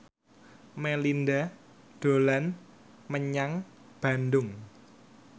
Melinda dolan menyang Bandung